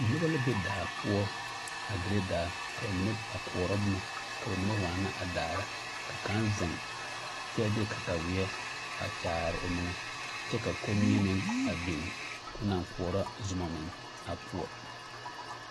Noba la be daa poɔ a dire daa ka ba mine a koɔrɔ boma ka ba mine waana a daar ka kaŋ zeŋ kyɛ de kataweɛ a kyaare o meŋɛ kyɛ ka kommie meŋ a biŋ ka o naŋ koɔrɔ zoma meŋ a poɔ.